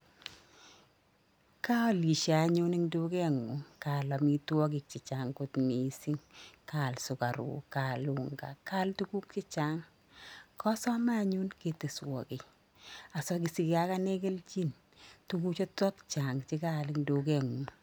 Kaalishe anyun eng duket ng'ung kaal amitwokik chechang kot missing, kaal sukaruk kaal unga kaal tukuk chechang,. Kasamei anyun keteswo kiy asasigee agine keljin tuguchotok kaal eng duket ngu'ng.